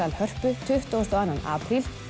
Hörpu tuttugasta og annan apríl